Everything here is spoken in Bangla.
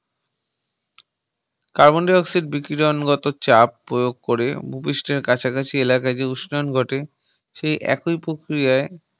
Carbon Dioxide বিকিরণ গত চাপ প্রয়োগ করে ভূপৃষ্ঠের কাছাকাছি এলাকা যে উষ্ণায়ন ঘটে সেই একই প্রক্রিয়ায়